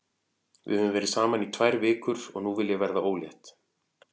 Við höfum verið saman í tvær vikur og nú vil ég verða ólétt.